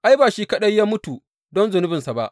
Ai, ba shi kaɗai ya mutu don zunubinsa ba.